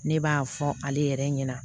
Ne b'a fɔ ale yɛrɛ ɲɛna